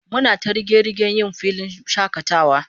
Muna ta riga-rigen yjn filin shakatawa